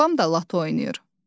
Babam da lotto oynayır.